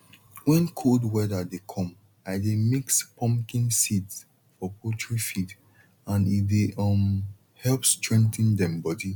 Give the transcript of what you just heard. when cold weather dey come i de mix pumpkin seeds for poultry feed and e dey um help strengthen dem body